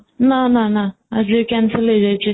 ନା ନା ନା ଆଜି cancel ହେଇଯାଇଛି